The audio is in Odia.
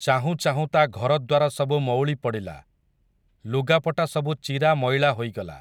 ଚାହୁଁ ଚାହୁଁ ତା' ଘରଦ୍ୱାର ସବୁ ମଉଳି ପଡ଼ିଲା, ଲୁଗାପଟା ସବୁ ଚିରା ମଇଳା ହୋଇଗଲା ।